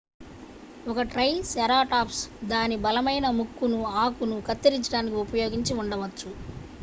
ఒక ట్రైసెరాటాప్స్ దాని బలమైన ముక్కును ఆకును కత్తిరించడానికి ఉపయోగించి ఉండవచ్చు